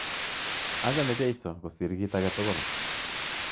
Achame Jeiso kosir kit ake tukul.